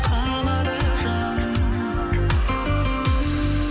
қалады жаным